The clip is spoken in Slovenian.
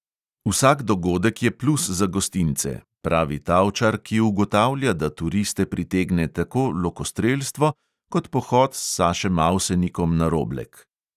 Vsak dogodek je plus za gostince, pravi tavčar, ki ugotavlja, da turiste pritegne tako lokostrelstvo kot pohod s sašem avsenikom na roblek.